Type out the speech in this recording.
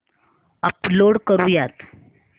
upload करुयात